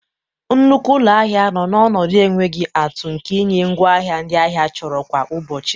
Nnukwu ụlọ ahịa nọ n'ọnọdụ enweghị atụ nke ịnye ngwaahịa ndị ahịa chọrọ kwa ụbọchị.